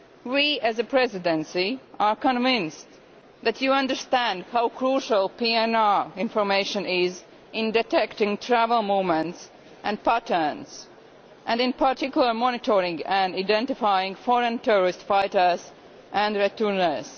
We, as the Presidency, are convinced that you understand how crucial PNR information is in detecting travel movements and patterns, and, in particular, monitoring and identifying foreign terrorist fighters and returnees.